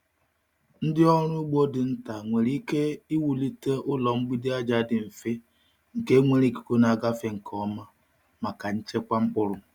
Ndị ọrụ ugbo nta nwere ike iwulite ụlọ mgbidi aja dị mfe nke nwere ikuku na-agafe nke ọma maka nchekwa mkpụrụ.